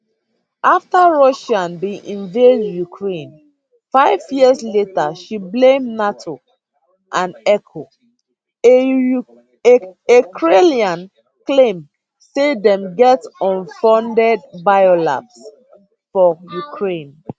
afta russia bin invade ukraine five years later she blame nato and echoe a kremlin claim say dem get usfunded biolabs for ukraine